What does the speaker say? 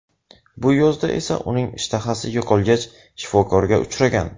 Bu yozda esa uning ishtahasi yo‘qolgach, shifokorga uchragan.